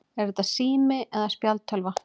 Er þetta sími eða spjaldtölva?